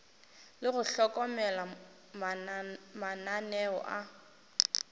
le go hlokomela mananeo a